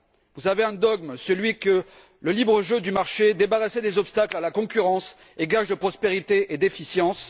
Vous avez un dogme, celui que le libre jeu du marché débarrassé des obstacles à la concurrence est gage de prospérité et d'efficience.